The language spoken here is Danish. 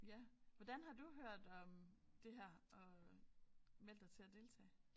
Ja hvordan har du hørt om det her og meldt dig til at deltage